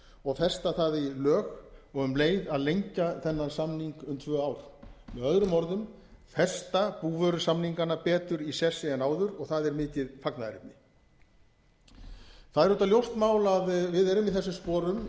og festa það í lög og um leið að lengja þennan samning um tvö ár möo festa búvörusamningana betur í sessi en áður og það er mikið fagnaðarefni það er auðvitað ljóst mál að við erum í þessum sporum